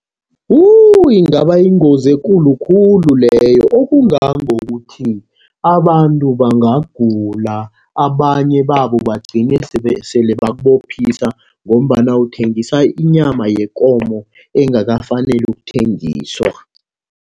Wu! ingaba yingozi ekulu khulu leyo, okungangokuthi abantu bangagula, abanye babo bagcine sele bakubophisa ngombana uthengisa inyama yekomo engakafaneli ukuthengiswa.